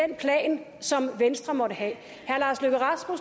den plan som venstre måtte have